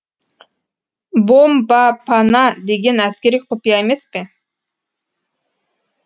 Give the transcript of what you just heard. бомбапана деген әскери құпия емес пе